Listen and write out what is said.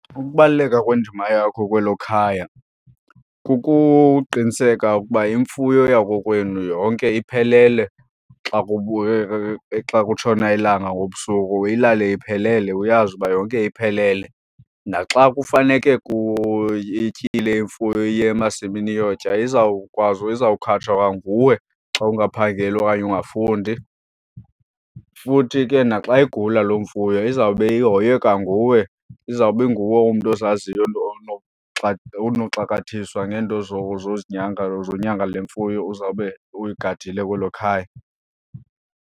Ukubaluleka kwendima yakho kwelo khaya kukuqiniseka ukuba imfuyo yakokwenu yonke iphelele xa xa kutshona ilanga ngobusuku. Ilale iphelele, uyazi uba yonke iphelele. Naxa kufaneke ityile imfuyo iye emasimini iyotya izawukwazi, iza kukhatshwa kwanguwe xa ungaphangeli okanye ungafundi. Futhi ke naxa igula loo mfuyo izawube ihoywe kwanguwe, izawube inguwe umntu ozaziyo onoxakathiswa ngeento zozinyanga, zonyanga le mfuyo uzawube uyigadile kwelo khaya.